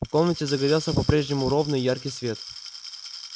в комнате загорелся по-прежнему ровный и яркий свет